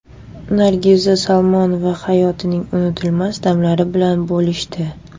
Nargiza Salmonova hayotining unutilmas damlari bilan bo‘lishdi.